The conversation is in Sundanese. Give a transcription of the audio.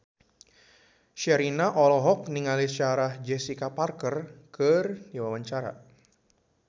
Sherina olohok ningali Sarah Jessica Parker keur diwawancara